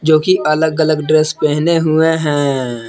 जो कि अलग अलग ड्रेस पहने हुए हैं।